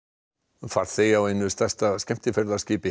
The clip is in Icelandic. farþegi af einu stærsta skemmtiferðaskipi í